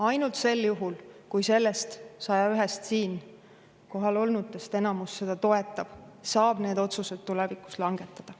Ainult sel juhul, kui 101-st siin kohal olnutest enamus seda toetab, saab need otsused tulevikus langetada.